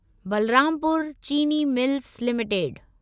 Balrampur Chini mills limited